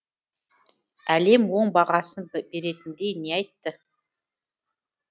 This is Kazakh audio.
әлем оң бағасын беретіндей не айтты